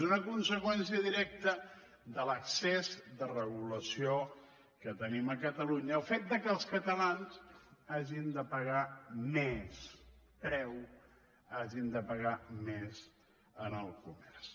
és una conseqüència directa de l’excés de regulació que tenim a catalunya el fet que els catalans hagin de pagar més preu hagin de pagar més en el comerç